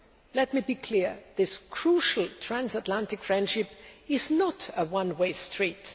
Let me be clear this crucial transatlantic friendship is not a one way street.